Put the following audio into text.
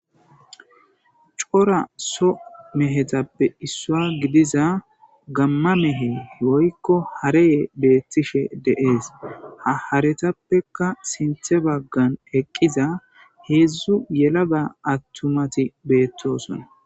Cora so mehe gididaysappe issuwa gidida gama mehe woykko harey betishe des.ha haretappeka sinta bagara eqida hedzdzu yelaga nayti betosona